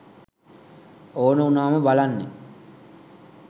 ඕන උනාම බලන්නෙ